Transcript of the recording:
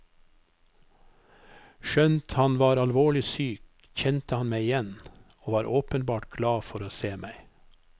Skjønt han var alvorlig syk, kjente han meg igjen, og var åpenbart glad for å se meg.